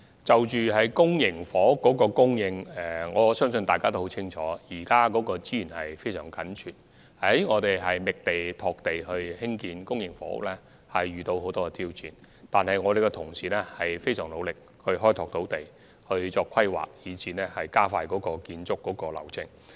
就公營房屋的供應，相信大家也很清楚，現時的土地供應確實非常緊絀，在覓地、拓地興建公營房屋方面亦遇到很多挑戰，但我們的同事非常努力開拓土地，進行規劃及盡力加快建屋流程。